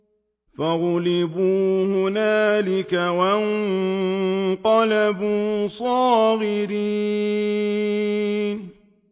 فَغُلِبُوا هُنَالِكَ وَانقَلَبُوا صَاغِرِينَ